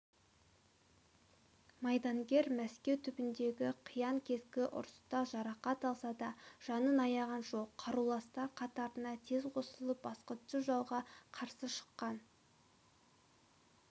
майдангер мәскеу түбіндегі қиян-кескі ұрыста жарақат алса да жанын аяған жоқ қаруластар қатарына тез қосылып басқыншы жауға қарсы шыққан